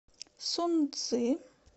сунцзы